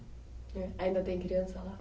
Ainda tem criança lá?